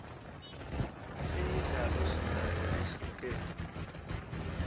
imidlalo sinayo lehlukene